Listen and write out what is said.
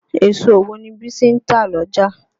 Èso wo ni Bísí ń tà l'ọ́jà?